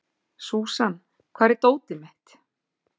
Súsan, hvar er dótið mitt?